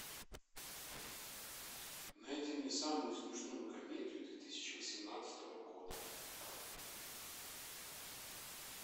найди мне самую смешную комедию две тысячи восемнадцатого года